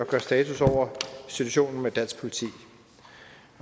gør status over situationen med dansk politi